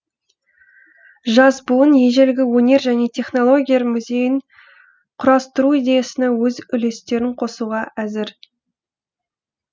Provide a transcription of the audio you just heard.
жас буын ежелгі өнер және технологиялар музейін құрастыру идеясына өз үлестерін қосуға әзір